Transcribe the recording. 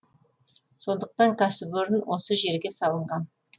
сондықтан кәсіпорын осы жерге салынған